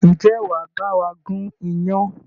Ǹjẹ́ wàá bawa gun iyán?